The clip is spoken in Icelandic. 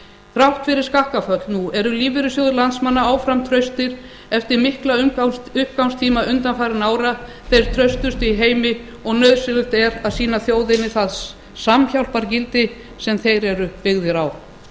þrátt fyrir skakkaföll nú eru lífeyrissjóðir landsmanna áfram traustir eftir mikla uppgangstíma undanfarinna ára þeir traustustu í heimi og nauðsynlegt er að sýna þjóðinni það samhjálpargildi sem þeir eru byggðir á